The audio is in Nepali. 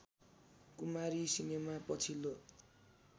कुमारी सिनेमा पछिल्लो